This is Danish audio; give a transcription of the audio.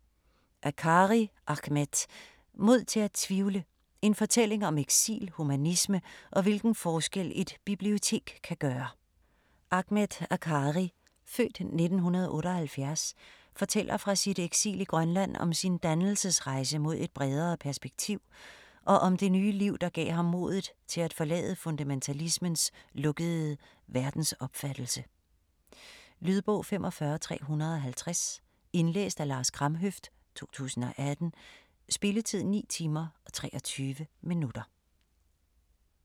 Akkari, Ahmed: Mod til at tvivle: en fortælling om eksil, humanisme og hvilken forskel et bibliotek kan gøre Ahmed Akkari (f. 1978) fortæller fra sit eksil i Grønland, om sin dannelsesrejse mod et bredere perspektiv, og om det nye liv, der gav ham modet til at forlade fundamentalismens lukkede verdensopfattelse. Lydbog 45350 Indlæst af Lars Kramhøft, 2018. Spilletid: 9 timer, 23 minutter.